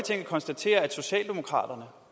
herre